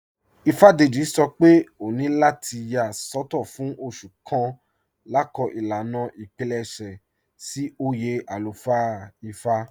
Ífádéjì̀ sọ́ pé òní látì yà sọtọ̀ fún òṣù kàn lákọọ̀ ilànà ìpílẹṣẹ̀ sí oyè alúfáà Ífá"